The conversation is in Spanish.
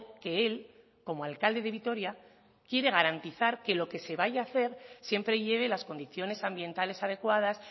que él como alcalde de vitoria quiere garantizar que lo que se vaya a hacer siempre lleve las condiciones ambientales adecuadas